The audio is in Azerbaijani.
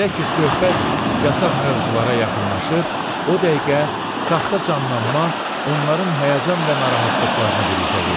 Elə ki söhbət yasaq mövzulara yaxınlaşır, o dəqiqə saxta canlanma onların həyəcan və narahatlıqlarını biruzə verir.